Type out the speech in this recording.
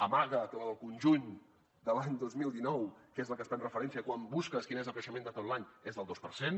amaga que la del conjunt de l’any dos mil dinou que és la que es pren de referència quan busques quin és el creixement de tot l’any és del dos per cent